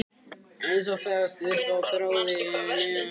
Eins og fest upp á þráð við hlið hennar.